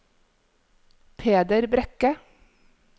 Peder Brekke